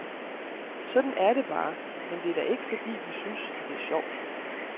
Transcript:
Sådan er det bare, men det er da ikke fordi, vi synes, at det er sjovt.